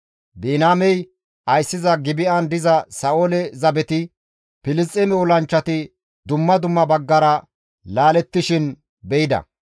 Biniyaamey ayssiza Gibi7an diza Sa7oole zabeti, Filisxeeme olanchchati dumma dumma baggara laalettishin be7ida.